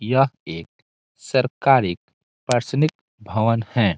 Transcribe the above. यह एक सरकारी प्रशासनिक भवन है।